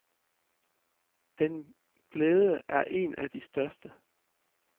Den glæde er en af de største.